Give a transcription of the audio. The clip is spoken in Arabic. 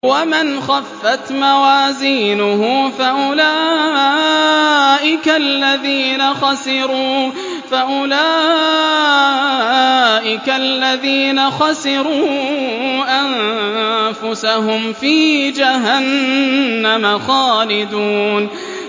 وَمَنْ خَفَّتْ مَوَازِينُهُ فَأُولَٰئِكَ الَّذِينَ خَسِرُوا أَنفُسَهُمْ فِي جَهَنَّمَ خَالِدُونَ